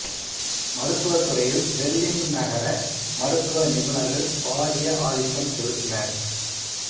மருத்துவத்துறையில் பெர்லின் நகர மருத்துவ நிபுணர்கள் பாரிய ஆதிக்கம் செலுத்தினர்